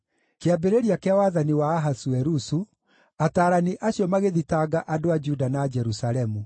Kĩambĩrĩria kĩa wathani wa Ahasuerusu, ataarani acio magĩthitanga andũ a Juda na Jerusalemu.